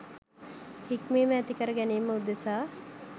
හික්මීම ඇති කර ගැනීම උදෙසා